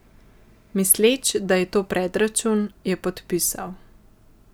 Misleč, da je to predračun, je podpisal.